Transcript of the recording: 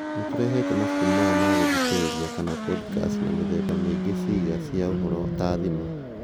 Nĩtũrehete mabuku maya ma gũthikĩrĩria kana podikasti na mĩthemba mĩingĩ Ciĩga cia ũhoro ta thimũ